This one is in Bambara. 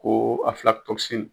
Ko